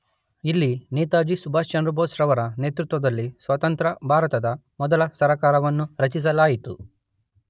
ಇಲ್ಲಿ ನೇತಾಜಿ ಸುಭಾಷ್ ಚಂದ್ರ ಬೋಸ್ ರವರ ನೇತೃತ್ವದಲ್ಲಿ ಸ್ವತಂತ್ರ ಭಾರತದ ಮೊದಲ ಸರಕಾರವನ್ನು ರಚಿಸಲಾಯಿತು.